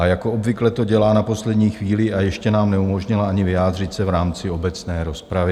A jako obvykle to dělá na poslední chvíli, a ještě nám neumožnila ani vyjádřit se v rámci obecné rozpravy.